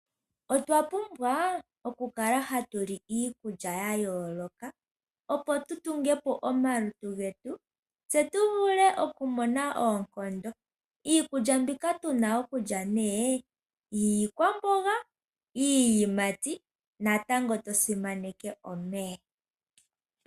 Otwapumbwa okukala ha tuli iikulya yayooloka opo tu tungepo omalutu getu tse tu vule okumona oonkondo. Iikulya mbika tu na okulya nee : iikwamboga, iiyimati natango tosimaneke omeya.